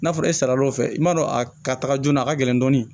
N'a fɔra e sal'o fɛ i m'a dɔn a ka taga joona a ka gɛlɛn dɔɔnin